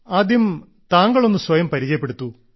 ആദ്യം താങ്കൾ ഒന്ന് സ്വയം പരിചയപ്പെടുത്തൂ